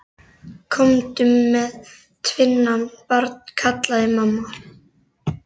Komdu með tvinnann, barn, kallaði mamma.